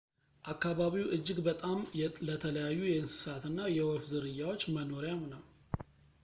አካባቢው እጅግ በጣም ለተለያዩ የእንስሳትና የወፍ ዝርያዎች መኖሪያም ነው